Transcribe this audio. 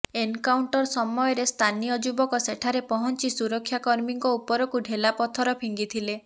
encounter ସମୟରେ ସ୍ଥାନୀୟ ଯୁବକ ସେଠାରେ ପହଞ୍ଚି ସୁରକ୍ଷା କର୍ମୀଙ୍କ ଉପରକୁ ଢେଲା ପଥର ଫିଙ୍ଗିଥିଲେ